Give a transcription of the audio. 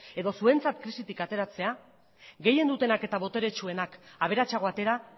edo zuentzat krisitik ateratzea gehien dutenak eta boteretsuenak aberatsago atera